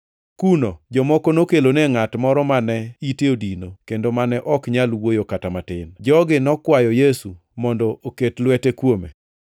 Kuno, jomoko nokelone ngʼat moro mane ite odino kendo mane ok nyal wuoyo kata matin. Jogi nokwayo Yesu mondo oket lwete kuome.